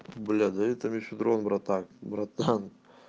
блять ну это не февраль братан братан